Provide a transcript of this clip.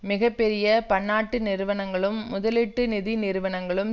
மிக பெரிய பன்னாட்டு நிறுவனங்களும் முதலீட்டு நிதி நிறுவனங்களும்